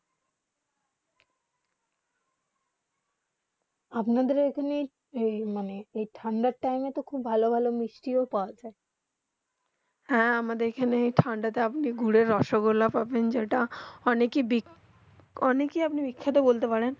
আপনা দের ওখানে তো মানে এই ঠান্ডা টাইম তো খুব ভালো ভালো মিষ্টি পৰা যায় হেঁ আমাদের আখ্যানে ঠান্ডা তে আপনি গুড়ের রসগোল্লা পাবেন যেটা অনেক হি বেখ্যেতা